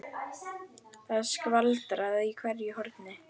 Það er skvaldrað í hverju horni.